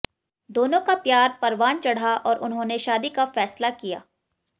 दोनों का प्यार परवान चढ़ा और उन्होंने शादी का फैसला किया